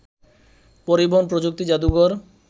পরিবহন প্রযুক্তি জাদুঘর